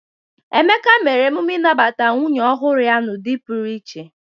Emeka mere emume nnabata nwunye ọhụrụ ya n'ụdị pụrụ iche.